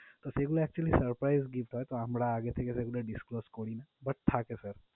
তো সেগুলো actually surprise gift হয় তো আমরা আগে থেকে সেগুলো disclose করিনা, but থাকে sir